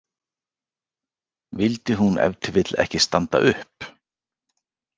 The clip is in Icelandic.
Vildi hún ef til vill ekki standa upp?